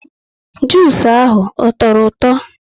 Jusu ahụ ọ tọrọ ụtọ?